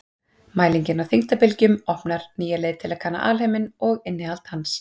mælingin á þyngdarbylgjunum opnar nýja leið til að kanna alheiminn og innihald hans